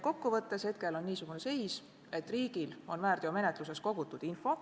Kokku võttes on praegu niisugune seis, et riigil on väärteomenetluses kogutud info.